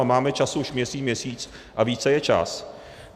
A máme čas už měsíc, měsíc a více je čas.